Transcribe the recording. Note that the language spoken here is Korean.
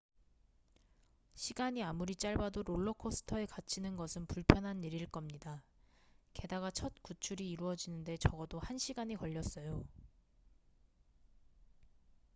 시간이 아무리 짧아도 롤러코스터에 갇히는 것은 불편한 일일 겁니다 게다가 첫 구출이 이루어지는데 적어도 한 시간이 걸렸어요